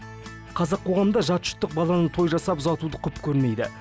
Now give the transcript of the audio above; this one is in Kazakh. қазақ қоғамында жат жұрттық баланы той жасап ұзатуды құп көрмейді